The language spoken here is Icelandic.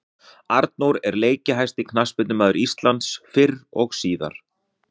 Arnór er leikjahæsti knattspyrnumaður Íslands fyrr og síðar.